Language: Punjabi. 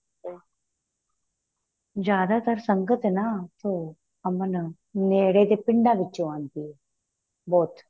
ਜਿਆਦਾਤਰ ਸੰਗਤ ਏਹ ਨਾ ਅਮਨ ਨੇੜੇ ਦੇ ਪਿੰਡਾਂ ਵਿਚੋ ਆਉਦੀ ਏ ਬਹੁਤ